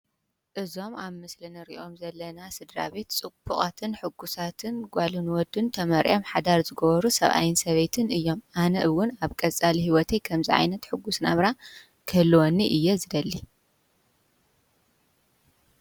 እዞም አብ ምስሊ እንሪኦም ዘለና ስድራ ቤት ፅቡቓትን ሕጉሳትን ጓልን ወድን ተመርዕዮም ሓዳር ዝገበሩ ሰብአይን ሰበይትን እዮም። አነ እውን አብ ቀፃሊ ሂወተይ ከምዚ ዓይነት ሕጉስ ናብራ ክህልወኒ እየ ዝደሊ።